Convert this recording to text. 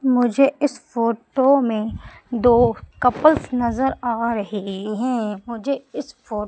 मुझे इस फोटो में दो कपल्स नजर आ रहे हैं मुझे इस फो--